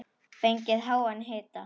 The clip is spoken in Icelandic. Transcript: Fengið háan hita.